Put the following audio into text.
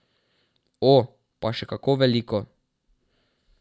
O, pa še kako veliko.